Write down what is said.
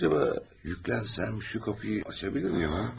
Acaba yüklənsəm, şu qapıyı açabilirəm yoxsa?